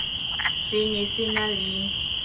se ne se na le